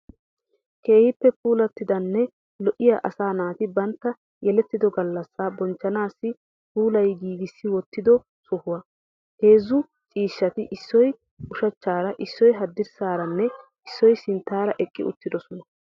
Keehippe puulattidanne lo'iyaa asaa naati bantta yelettido gallassaa bonchchnaassi puulayi giigissi wottido sohuwaa. Heezzu ciishshati issoy ushachchaara issoyi haddirssaaranne issoy sinttaara eqqi uttidosona.